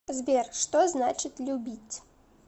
сбер что значит любить